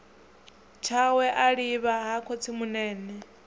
tshawe a livha ha khotsimunene